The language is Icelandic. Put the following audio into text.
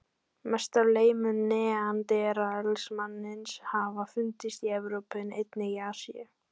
Mest af leifum neanderdalsmannsins hafa fundist í Evrópu en einnig í Asíu.